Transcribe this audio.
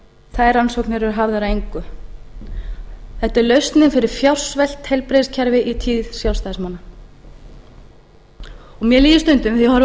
þær rannsóknir eru hafðar að engu þetta er lausnin fyrir fjársvelt heilbrigðiskerfi í tíð sjálfstæðismanna mér líður stundum þegar ég horfi á